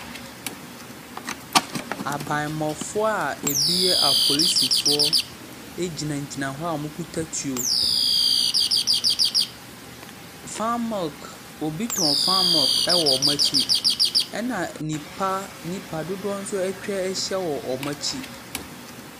Abanmmɔfoɔ a ebi yɛ apolisifoɔ gyinagyina hz wokita tuo. Fan milk, obi tɔn fan milk wɔ wɔn akyi, na nnipa nnipa dodoɔ nso atwa ahyia wɔn akyi.